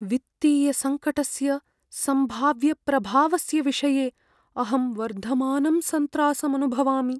वित्तीयसङ्कटस्य सम्भाव्यप्रभावस्य विषये अहं वर्धमानं सन्त्रासम् अनुभवामि।